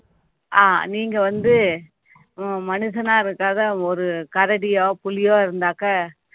ஆஹ் நீங்க வந்து அஹ் மனுஷனா இருக்காத ஒரு கரடியோ, புலியோ இருந்தாக்க